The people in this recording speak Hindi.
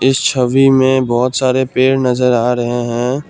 इस छवि मे बहुत सारे पेड़ नजर आ रहे हैं।